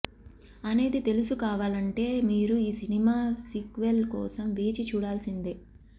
అనేది తెలుసు కోవాలంటే మీరు ఈ సినిమా సీక్వెల్ కోసం వేచి చూడాల్సిందే